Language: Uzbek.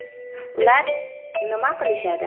Ular nima qilishadi?